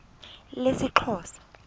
lesixhosa